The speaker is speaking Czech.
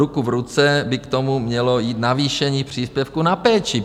Ruku v ruce by k tomu mělo jít navýšení příspěvku na péči.